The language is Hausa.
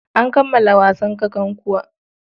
An kammala wasan kakankuwa.